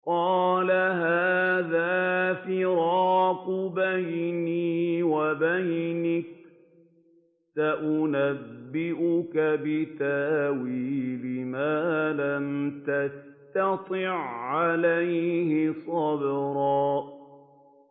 قَالَ هَٰذَا فِرَاقُ بَيْنِي وَبَيْنِكَ ۚ سَأُنَبِّئُكَ بِتَأْوِيلِ مَا لَمْ تَسْتَطِع عَّلَيْهِ صَبْرًا